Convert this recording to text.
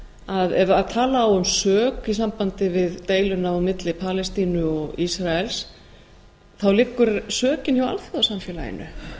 að ef tala á um sök um deiluna á milli palestínu og ísraels þá liggur sökin hjá alþjóðasamfélaginu